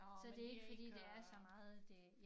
Så det ikke fordi det er så meget det